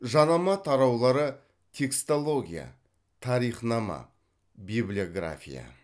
жанама тараулары текстология тарихнама библиография